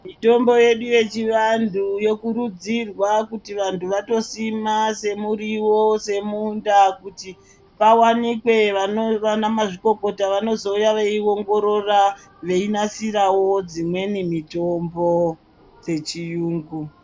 Mitombo yedu yechivantu yokurudzirwa kuti vantu vatosima semuriwo semunda kuti pawanikwe vanamazvikokota vanozouya veiongorora veinasirawo dzimweni mitombo dzechiyungu.